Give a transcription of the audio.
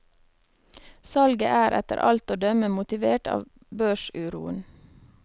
Salget er etter alt å dømme motivert av børsuroen.